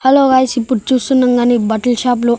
hello guys ఇప్పుడు చూస్తుండగానే ఈ బట్టల షాప్ లో--